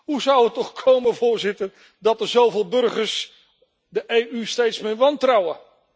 Hoe zou het toch komen, Voorzitter, dat zoveel burgers de EU steeds meer wantrouwen?